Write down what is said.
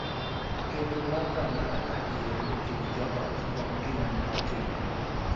Kendo mbaka ma adier e kind jo ot kuom gima ne otimore,